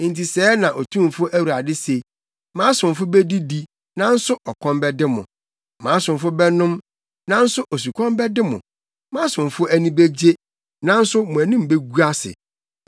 Enti sɛɛ na Otumfo Awurade se: “Mʼasomfo bedidi, nanso ɔkɔm bɛde mo, mʼasomfo bɛnom, nanso osukɔm bɛde mo; mʼasomfo ani begye, nanso mo anim begu ase.